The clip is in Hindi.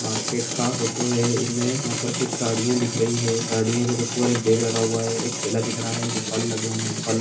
मार्केट का फोटो है इनमे कुछ गाड़ी दिख रही है गाड़िया के ऊपर एक बैग रखा हुआ है एक ठेला दिख रहा हैफल लगे हुए है। फल--